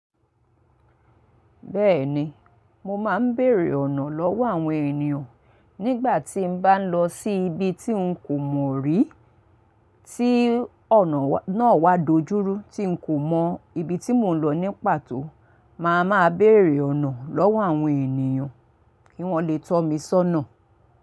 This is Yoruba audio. Bẹ́ẹ̀ni, mo máa ń bèèrè ọ̀nà lọ́wọ́ àwọn ènìyàn nígbà tí n bá ń lọ sí ibi tí ń kò mọ̀ rí, tí ọ̀nà náà wá dojúrú tí ń kò mọ ibi tí mò ń lọ ní pàtó, màá máa bèèrè ọ̀nà lọ́wọ́ àwọn ènìyàn kí wọ́n le tọ́ mi sọ́nà.